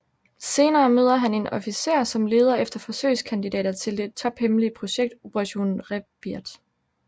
Senere møder han en officer som leder efter forsøgskandidater til det tophemmelige projekt Operation Rebirth